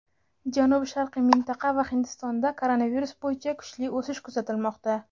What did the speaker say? janubi-sharqiy mintaqa va Hindistonda koronavirus bo‘yicha kuchli o‘sish kuzatilmoqda.